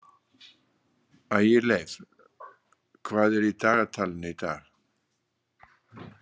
Ægileif, hvað er í dagatalinu í dag?